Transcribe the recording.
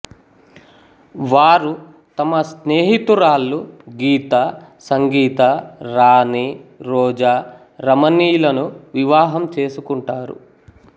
వారు తమ స్నేహితురాళ్ళు గీతా సంగీత రాణి రోజా రమణి లను వివాహం చేసుకుంటారు